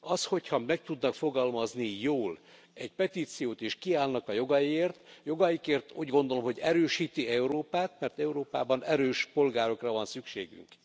Az, hogyha meg tudnak fogalmazni jól egy petíciót és kiállnak a jogaikért, úgy gondolom, hogy erősíti Európát, mert Európában erős polgárokra van szükségünk.